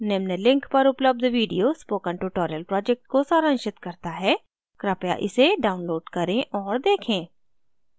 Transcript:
निम्न link पर उपलब्ध video spoken tutorial project को सारांशित करता है कृपया इसे download करें और देखें